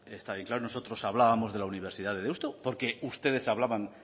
está bien claro nosotros hablábamos de la universidad de deusto porque ustedes hablaban